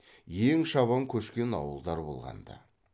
ең шабан көшкен ауылдар болған ды